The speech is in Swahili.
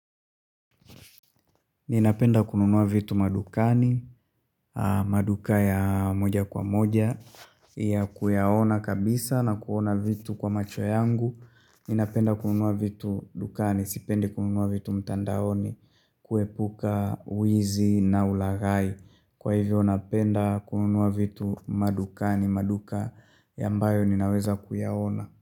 Ninapenda kununua vitu madukani, maduka ya moja kwa moja, ya kuyaona kabisa na kuona vitu kwa macho yangu. Ninapenda kununua vitu dukani, sipendi kununua vitu mtandaoni, kuepuka, wizi na ulaghai. Kwa hivyo, napenda kununua vitu madukani, maduka ambayo ninaweza kuyaona.